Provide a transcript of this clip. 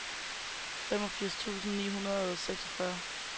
femogfirs tusind ni hundrede og seksogfyrre